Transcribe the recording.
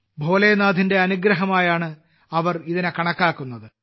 ഭോലേനാഥിന്റെ അനുഗ്രഹമായാണ് അവർ ഇതിനെ കണക്കാക്കുന്നത്